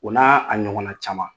O n' a ɲɔgɔnna caman